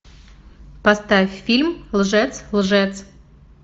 поставь фильм лжец лжец